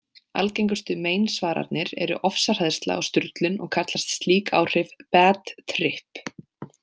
Algengustu meinsvaranir eru ofsahræðsla og sturlun og kallast slík áhrif „bad trip“.